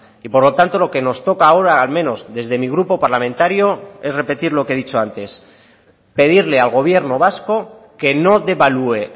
y por lo tanto lo que nos toca ahora al menos desde mi grupo parlamentario es repetir lo que he dicho antes pedirle al gobierno vasco que no devalúe